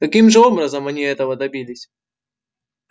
каким же образом они этого добились